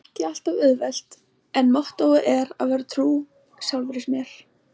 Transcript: Það er ekki alltaf auðvelt- en mottóið er að vera trú sjálfri mér.